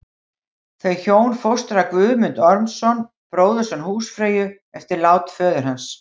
Þau hjón fóstra Guðmund Ormsson, bróðurson húsfreyju, eftir lát föður hans.